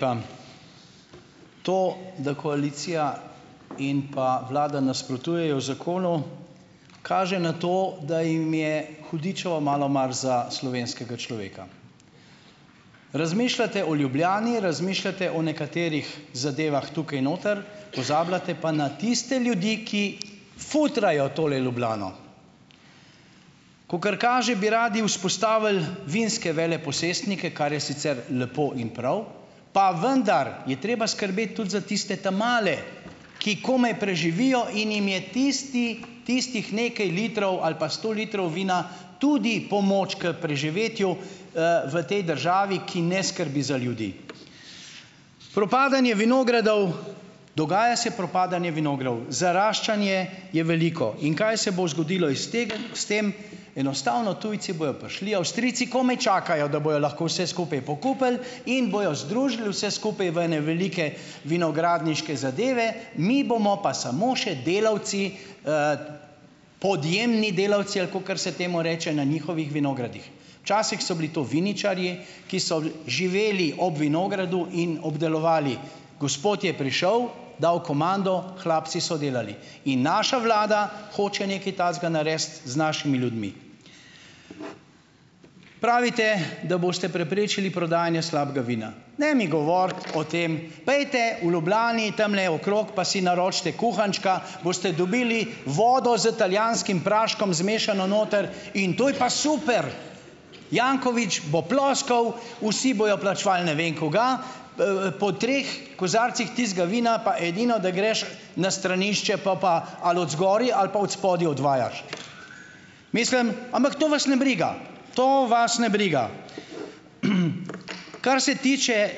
Dan To, da koalicija in pa vlada nasprotujejo zakonu, kaže na to, da jim je hudičevo malo mar za slovenskega človeka. Razmišljate o Ljubljani, razmišljate o nekaterih zadevah tukaj noter, pozabljate pa na tiste ljudi, ki futrajo tole Ljubljano. Kakor kaže, bi radi vzpostavili vinske veleposestnike, kar je sicer lepo in prav, pa vendar je treba skrbeti tudi za tiste ta male, ki komaj preživijo in jim je tisti, tistih nekaj litrov ali pa sto litrov vina tudi pomoč k preživetju, v tej državi, ki ne skrbi za ljudi. Propadanje vinogradov, dogaja se propadanje vinogradov. Zaraščanje je veliko. In kaj se bo zgodilo iz tega, s tem? Enostavno tujci bojo prišli, Avstrijci komaj čakajo, da bojo lahko vse skupaj pokupili in bojo združili vse skupaj v ene velike vinogradniške zadeve, mi bomo pa samo še delavci, podjemni delavci, ali kakor se temu reče, na njihovih vinogradih, včasih so bili to viničarji, ki so bolj živeli ob vinogradu in obdelovali, gospod je prišel, dal komando, hlapci so delali. In naša vlada hoče nekaj takega narediti z našimi ljudmi. Pravite, da boste preprečili prodajanje slabega vina. Ne mi govoriti o tem. Pojdite v Ljubljani tamle okrog, pa si naročite kuhančka, boste dobili vodo z italijanskim praškom zmešano noter, in to je pa super, Janković bo ploskal, vsi bojo plačevali ne vem kaj, po treh kozarcih tistega vina pa edino, da greš na stranišče, pol pa ali odzgoraj ali pa odspodaj odvajaš. Mislim ... Ampak to vas ne briga. To vas ne briga. Kar se tiče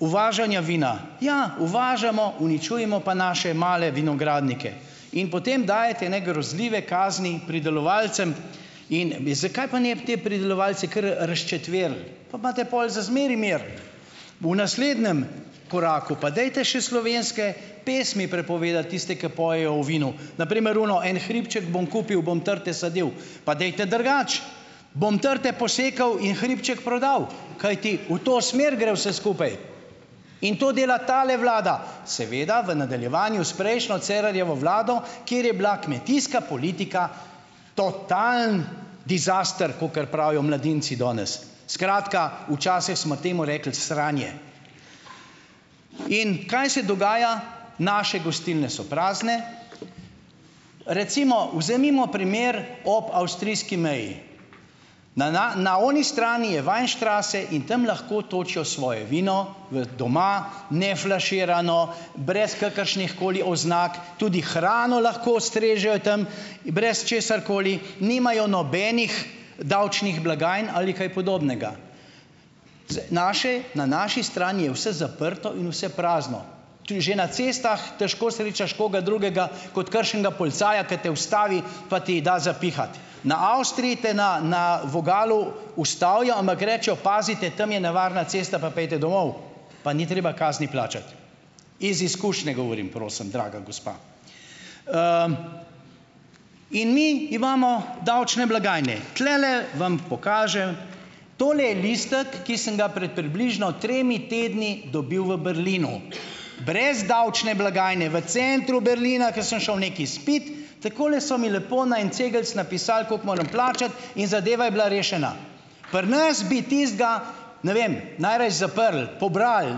uvažanja vina. Ja, uvažamo, uničujemo pa naše male vinogradnike in potem dajete ene grozljive kazni pridelovalcem. In me, zakaj pa ne bi te pridelovalce kar, razčetverili, pa imate pol za zmeraj mir? V naslednjem koraku pa dajte še slovenske pesmi prepovedati, tiste, ki pojejo o vinu, na primer ono En hribček bom kupil, bom trte sadil, pa dajte drugače, Bom trte posekal in hribček prodal, kajti v to smer gre vse skupaj, in to dela tale vlada, seveda v nadaljevanju s prejšnjo Cerarjevo vlado, kjer je bila kmetijska politika totalen dizaster, kakor pravijo mladinci danes, skratka, včasih smo temu rekli sranje. In kaj se dogaja? Naše gostilne so prazne. Recimo vzemimo primer ob avstrijski meji. Na, na, na oni strani je Weinstraße in tam lahko točijo svoje vino v doma, neflaširano, brez kakršnihkoli oznak, tudi hrano lahko strežejo tam brez česarkoli, nimajo nobenih davčnih blagajn ali kaj podobnega. Z, naše, na naši strani je vse zaprto in vse prazno, tudi že na cestah težko srečaš koga drugega kot kakršnega policaja, ker te ustavi pa ti da za pihati. Na Avstriji te na, na vogalu ustavijo, ampak rečejo: "Pazite, tam je nevarna cesta pa pojdite domov," pa ni treba kazni plačati. Iz izkušnje govorim, prosim, draga gospa. In mi imamo davčne blagajne. Tulele vam pokažem, to je listek, ki sem ga pred približno tremi tedni dobil v Berlinu, brez davčne blagajne v centru Berlina, ko sem šel nekaj spit, takole so mi lepo na en cegeljc napisali, koliko moram plačati, in zadeva je bila rešena. Pri nas bi tistega, ne vem, najraje zaprli, pobrali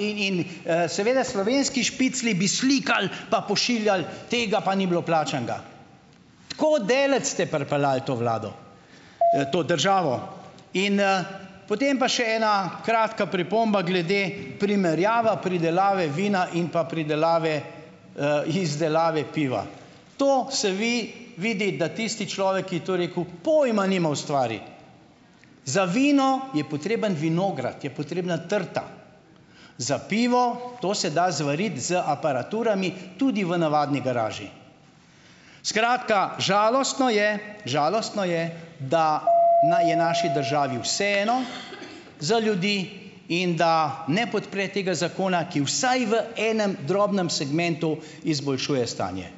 in, seveda slovenski špiclji bi slikali, pa pošiljali: "Tega pa ni bilo plačanega." Tako daleč ste pripeljali to vlado, to državo. In, potem pa še ena kratka pripomba glede primerjave pridelave vina in pa pridelave, izdelave piva. To se vi vidi, da tisti človek, ki je to rekel, pojma nima o stvari. Za vino je potreben vinograd, je potrebna trta, za pivo, to se da zvariti z aparaturami tudi v navadni garaži. Skratka, žalostno je, žalostno je, da na je naši državi vseeno za ljudi in da ne podpre tega zakona, ki vsaj v enem drobnem segmentu izboljšuje stanje.